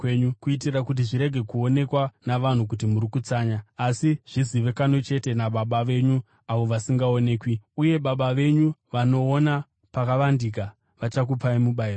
kuitira kuti zvirege kuonekwa navanhu kuti muri kutsanya, asi zvizivikanwe chete naBaba venyu avo vasingaonekwi. Uye Baba venyu vanoona pakavandika, vachakupai mubayiro.